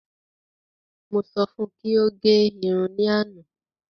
Mọ sọ fún kí o gẹ irun ní àna